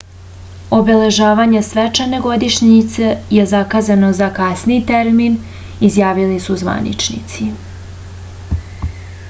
obeležavanje svečane godišnjice je zakazano za kasniji termin izjavili su zvaničnici